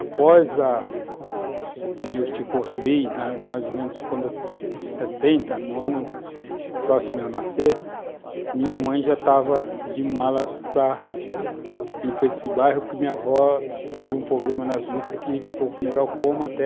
Após a, o meu tio construir, mais ou menos em 70, no ano próximo a eu nascer, minha mãe já estava de malas para ir para esse bairro, porque minha avó teve um problema nas vistas que ficou com glaucoma.